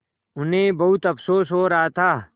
उन्हें बहुत अफसोस हो रहा था